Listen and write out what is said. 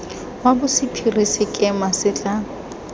wa bosephiri sekema se tla